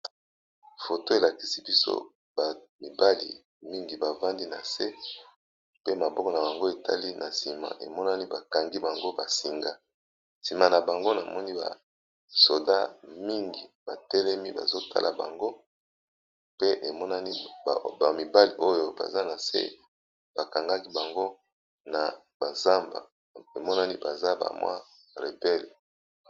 Photo oyo elakisi biso bana ya mibali, bafandisi bango nase, na mapinga ébélé pembeni na bango